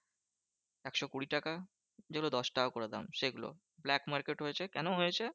একশো কুড়ি টাকা। যেগুলো দশটাকা করে দাম সেগুলো, black market হয়েছে কেন হয়েছে?